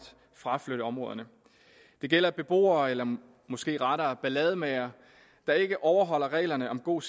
fraflytte områderne det gælder beboere eller måske rettere ballademagere der ikke overholder reglerne om god